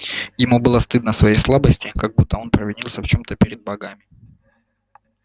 ему было стыдно своей слабости как будто он провинился в чем то перед богами